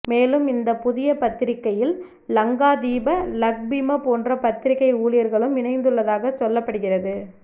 மேலும் இந்தப் புதிய பத்திரிகையில் லங்காதீப லக்பிம போன்ற பத்திரிகை ஊழியர்களும் இணைந்துள்ளதாக சொல்லப்படுகிறது